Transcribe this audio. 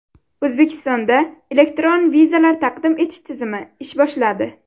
O‘zbekistonda elektron vizalar taqdim etish tizimi ish boshladi.